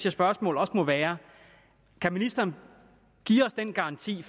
at spørgsmålet også må være kan ministeren give den garanti